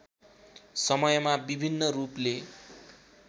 समयमा विभिन्न रूपले